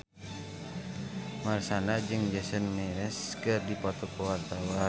Marshanda jeung Jason Mraz keur dipoto ku wartawan